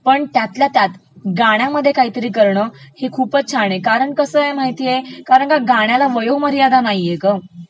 पण त्यातल्या त्यात गाण्यामध्ये काही करणं हे खूपचं छान आहे, कारण कसं आहे माहितेय, कारण गाण्याला वयोमर्यादा नाहीये ग..